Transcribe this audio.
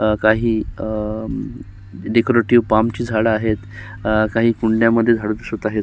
अ काही अ decorative palm ची झाड आहेत. काही कुंड्यामधे झाडं दिसत आहेत.